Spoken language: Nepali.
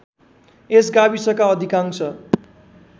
यस गाविसका अधिकांश